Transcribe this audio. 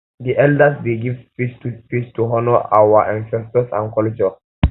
um di elders um dey give speech to speech to honor our um ancestors and culture